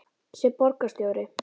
sem borgarstjóri?